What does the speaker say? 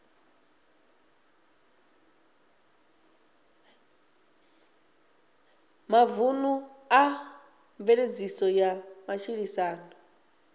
mavunḓu kha mveledziso ya matshilisano